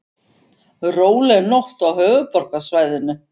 Róleg nótt á höfuðborgarsvæðinu